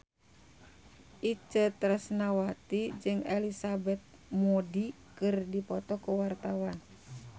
Itje Tresnawati jeung Elizabeth Moody keur dipoto ku wartawan